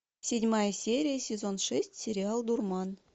седьмая серия сезон шесть сериал дурман